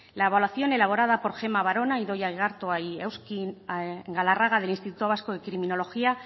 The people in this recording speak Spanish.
la evaluación elaborada por gemma barona idoia igartua y auxkin galarraga del instituto vasco de criminología